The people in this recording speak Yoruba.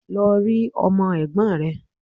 Lọ rí Ọmọ Ègbón rè